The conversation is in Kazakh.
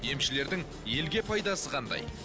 емшілердің елге пайдасы қандай